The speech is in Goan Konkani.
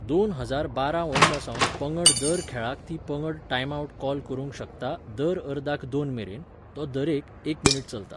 दोन हजार बारा वर्सासावन पंगड दर खेळाक ती पंगड टायमआवट कॉल करूंक शकता दर अर्दाक दोन मेरेन, तो दरेक, एक मिनीट चलता